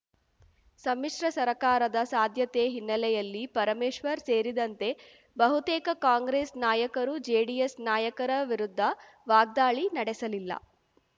ಸಮ್ಮಿಶ್ರ ಸರಕಾರದ ಸಾಧ್ಯತೆ ಹಿನ್ನೆಲೆಯಲ್ಲಿ ಪರಮೇಶ್ವರ್‌ ಸೇರಿದಂತೆ ಬಹುತೇಕ ಕಾಂಗ್ರೆಸ್‌ ನಾಯಕರು ಜೆಡಿಎಸ್‌ ನಾಯಕರ ವಿರುದ್ಧ ವಾಗ್ದಾಳಿ ನಡೆಸಲಿಲ್ಲ